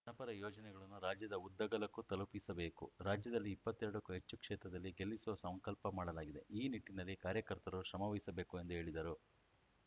ಜನಪರ ಯೋಜನೆಗಳನ್ನು ರಾಜ್ಯದ ಉದ್ದಗಲಕ್ಕೂ ತಲುಪಿಸಬೇಕು ರಾಜ್ಯದಲ್ಲಿ ಇಪ್ಪತ್ತ್ ಎರಡಕ್ಕೂ ಹೆಚ್ಚು ಕ್ಷೇತ್ರದಲ್ಲಿ ಗೆಲ್ಲಿಸುವ ಸಂಕಲ್ಪ ಮಾಡಲಾಗಿದೆ ಈ ನಿಟ್ಟಿನಲ್ಲಿ ಕಾರ್ಯಕರ್ತರು ಶ್ರಮವಹಿಸಬೇಕು ಎಂದು ಹೇಳಿದರು